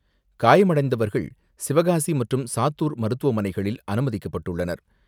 காயமடைந்தவர்கள் சிவகாசி மற்றும் சாத்தூர் மருத்துவமனைகளில் அனுமதிக்கப்பட்டுள்ளனர்.